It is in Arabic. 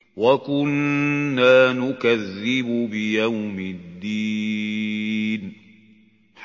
وَكُنَّا نُكَذِّبُ بِيَوْمِ الدِّينِ